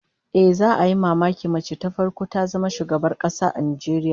Ehh, za'a yi mamakin mace ta farko ta zama shugabar kasa a Najeriya